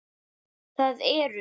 Það eru